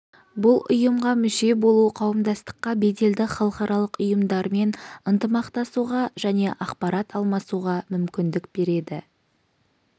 бұл ұйымға мүше болу қауымдастыққа беделді халықаралық ұйымдармен ынтымақтасуға және ақпарат алмасуға мүмкіндік береді